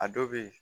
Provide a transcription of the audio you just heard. A dɔw bɛ yen